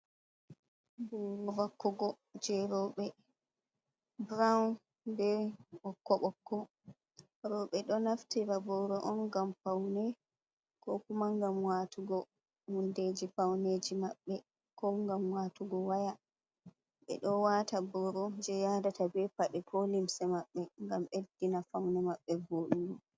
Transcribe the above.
Ɓoro vakkugo je roɓe, burawun ɓe ɓokko ɓokko, roɓe do naftira vakka ɓoro on ngam faune, ko kuma ngam watugo hunde ji faune ji maɓɓe, ko ngam watugo waya, ɓeɗo wata boro je yadata ɓe paɗe ko limse maɓɓe ngam ɓeɗɗina faune maɓɓe vodugo.